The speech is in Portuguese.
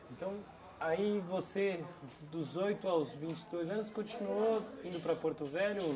Então, aí você dos oito aos vinte e dois anos continuou indo para Porto Velho ou